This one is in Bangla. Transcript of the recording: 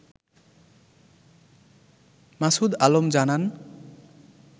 মাসুদ আলম জানান